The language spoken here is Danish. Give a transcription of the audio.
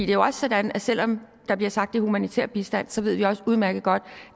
jo også sådan at selv om der bliver sagt er humanitær bistand så ved vi også udmærket godt